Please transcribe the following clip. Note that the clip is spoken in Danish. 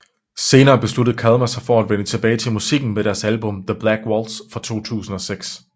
Senere besluttede Kalmah sig for at vende tilbage til musikken med deres album The Black Waltz fra 2006